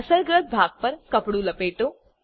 અસરગ્રસ્ત ભાગ પર કપડું લપેટો